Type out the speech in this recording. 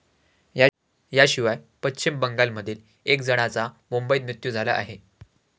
याशिवाय पश्चिम बंगालमधील एका जणाचा मुंबईत मृत्यू झाला आहे.